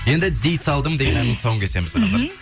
енді дей салдым деген әннің тұсауын кесеміз қазір